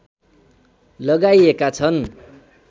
लगाइएका छन्